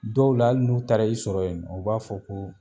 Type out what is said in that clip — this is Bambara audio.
Dɔw la ali n'u taara i sɔrɔ yen nɔ o b'a fɔ ko